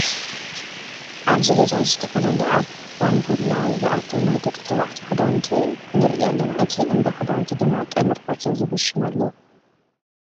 ኣብዚ ገዛ እዚ ዝተፈላለዩ ኣብ ባንቡላ ዝኣተዉ ናይ ደቂ ተባዕትዮ ክዳውንቲ ንርኢ ኣለና። እቲ እንዳ ክዳውንቲ ድማ ቀመር ፋሽን ዝብል ሽም ኣለዎ።